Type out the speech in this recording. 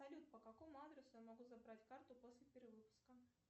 салют по какому адресу я могу забрать карту после перевыпуска